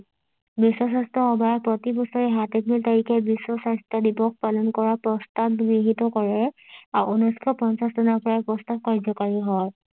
বিশ্ব স্বাস্থ্য সভা প্ৰতিবছৰে সাত এপ্ৰিল তাৰিখে বিশ্ব স্বাস্থ্য দিৱস পালন কৰা প্ৰস্তাৱ গৃহীত কৰে ঊনৈশ পঞ্চাছ চনৰ পৰাই প্ৰস্তাৱ কাৰ্য্যকাৰী হয়